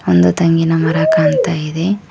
ಒಂದು ತೆಂಗಿನ ಮರ ಕಾಣ್ತಾ ಇದೆ.